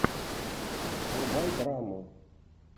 врубай драму